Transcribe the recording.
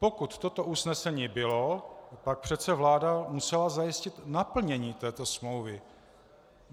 Pokud toto usnesení bylo, pak přece vláda musela zajistit naplnění této smlouvy.